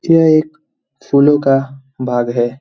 यह एक फूलों का बाग है।